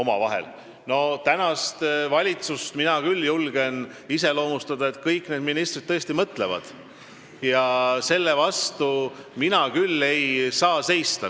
Mina julgen praegust valitsust iseloomustada sellisena, et kõik ministrid tõesti mõtlevad, ja selle vastu mina küll seista ei saa.